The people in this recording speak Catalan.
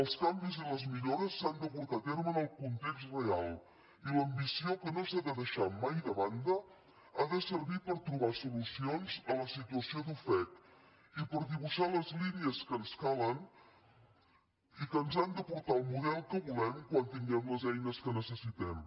els canvis i les millores s’han de portar a terme en el context real i l’ambició que no s’ha de deixar mai de banda ha de servir per trobar solucions a la situació d’ofec i per dibuixar les línies que ens calen i que ens han de portar el model que volem quan tinguem les eines que necessitem